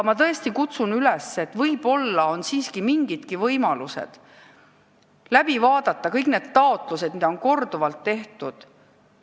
Ma tõesti kutsun üles, et võib-olla on siiski mingidki võimalused enne kolmandat lugemist läbi vaadata kõik need taotlused, mida on korduvalt tehtud.